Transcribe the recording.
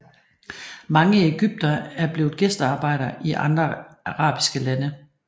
Mange egyptere er blevet gæstearbejdere i andre arabiske lande